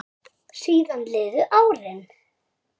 Síðan liðu árin.